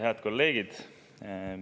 Head kolleegid!